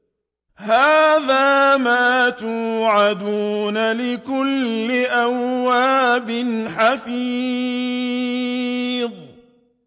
هَٰذَا مَا تُوعَدُونَ لِكُلِّ أَوَّابٍ حَفِيظٍ